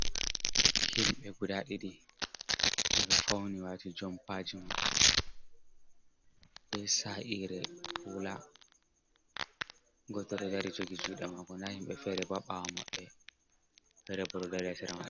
Himɓe guda ɗiɗi miɗo fauni wati jompaji maɓɓe be sa’ire hula, goto ɗo dari jogi juɗe mako, nda himɓe fere ha ɓawo maɓɓe ferebo bo ɗo dari ha sera mabɓe.